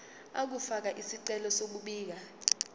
ukufaka isicelo sokubika